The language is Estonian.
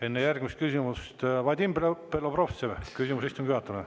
Enne järgmist küsimust, Vadim Belobrovtsev, küsimus istungi juhatajale.